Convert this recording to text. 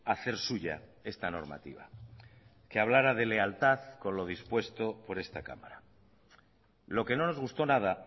hacer suya esta normativa que hablara de lealtad con lo dispuesto por esta cámara lo que no nos gustó nada